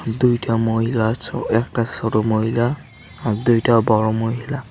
দুইটা মহিলা ছো একটা ছোট মহিলা আর দুইটা বড়ো মহিলা।